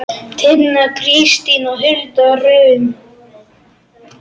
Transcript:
Tinna Kristín og Hulda Rún.